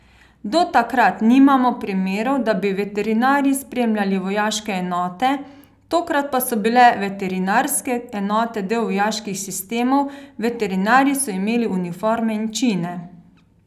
Do takrat nimamo primerov, da bi veterinarji spremljali vojaške enote, tokrat pa so bile veterinarske enote del vojaških sistemov, veterinarji so imeli uniforme in čine.